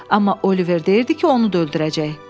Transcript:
Amma Oliver deyirdi ki, onu da öldürəcək.